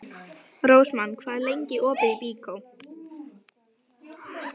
Rósmann, hvað er lengi opið í Byko?